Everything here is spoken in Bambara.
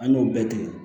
An y'o bɛɛ tigɛ